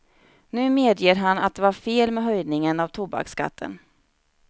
Nu medger han att det var fel med höjningen av tobaksskatten.